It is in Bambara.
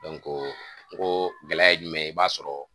o gɛlɛya ye jumɛn ye i b'a sɔrɔ